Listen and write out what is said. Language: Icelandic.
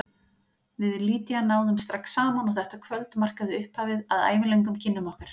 Við Lydia náðum strax saman og þetta kvöld markaði upphafið að ævilöngum kynnum okkar.